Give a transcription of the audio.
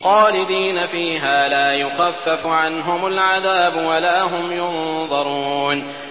خَالِدِينَ فِيهَا لَا يُخَفَّفُ عَنْهُمُ الْعَذَابُ وَلَا هُمْ يُنظَرُونَ